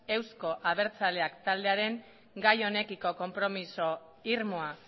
euzko abertzaleak taldearen gai honekiko konpromiso irmoa